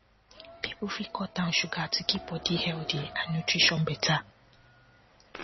people fit cut down sugar to keep body healthy and nutrition better